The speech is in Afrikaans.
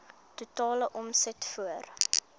totale omset voor